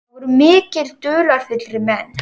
Það voru miklu dularfyllri menn.